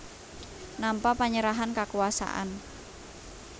Nampa panyerahan kakuwasan